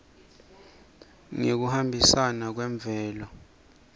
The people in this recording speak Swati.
ngekuhambisana kwemvelo